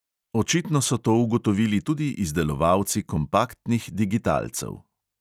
Očitno so to ugotovili tudi izdelovalci kompaktnih digitalcev.